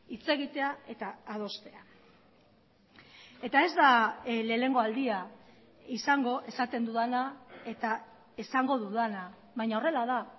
hitz egitea eta adostea eta ez da lehenengo aldia izango esaten dudana eta esango dudana baina horrela da